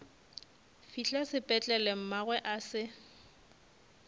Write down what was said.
fihla sepetlele mmagwe a se